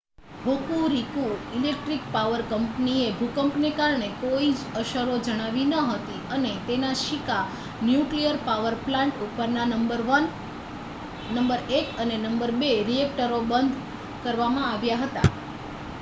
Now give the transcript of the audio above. Hokuriku electric power કંપનીએ ભૂકંપને કારણે કોઈ જ અસરો જણાવી નહોતી અને તેના શીકા ન્યુક્લીયર પાવર પ્લાન્ટ ઉપરના નંબર 1 અને નંબર 2 રીએકટરો બંધ કરવામાં આવ્યા હતા